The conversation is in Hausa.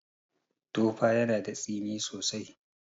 Tofa yana da tsini sosai.